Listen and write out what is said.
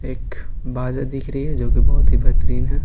एक बाजा दिख रही है जो कि बहुत ही बेहतरीन है।